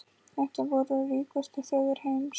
Þetta voru ríkustu þjóðir heims.